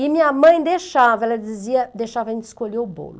E minha mãe deixava, ela dizia, deixava a gente escolher o bolo.